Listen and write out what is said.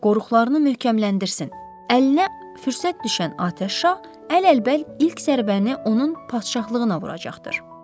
Qoruqlarını möhkəmləndirsin, əlinə fürsət düşən atəş şah əl-əlbəl ilk zərbəni onun padşahlığına vuracaqdır.